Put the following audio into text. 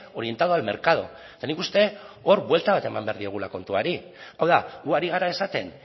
orientado al mercado eta nik uste dut hor buelta bat eman behar diogula kontuari hau da gu ari gara esaten